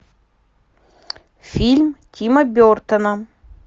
фильм тима бертона